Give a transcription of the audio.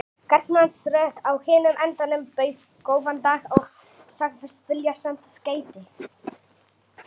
Karlmannsrödd á hinum endanum bauð góðan dag og sagðist vilja senda skeyti.